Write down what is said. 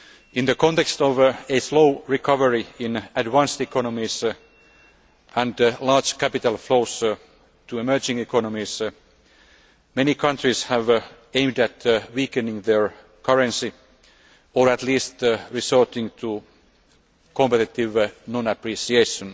In the context of a slow recovery in advanced economies and large capital flows to emerging economies, many countries have aimed at weakening their currency or at least resorting to competitive non appreciation.